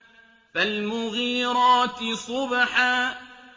فَالْمُغِيرَاتِ صُبْحًا